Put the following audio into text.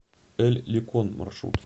эль ликон маршрут